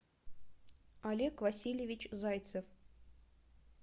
олег васильевич зайцев